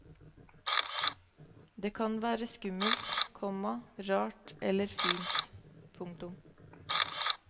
Det kan være skummelt, komma rart eller fint. punktum